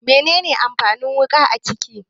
Mene ne amfanin wuƙa a kicin?